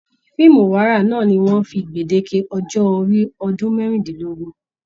Fíìmù ìwárà náà ní wọn fí gbedeke ọjọ orí ọdún merindinlogun.